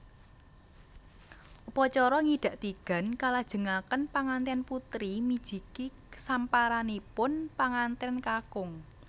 Upacara ngidak tigan kalajengaken panganten putri mijiki samparanipun panganten kakung